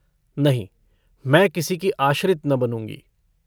नहीं मैं किसी की आश्रित न बनूँगी।